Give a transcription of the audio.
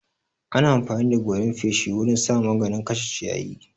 Ana amfani da goran feshi wurin sa maganin kashe ciyayi.